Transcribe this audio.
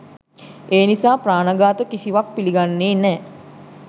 ඒ නිසා ප්‍රාණ ඝාත කිසිවත් පිළිගන්නේ නෑ.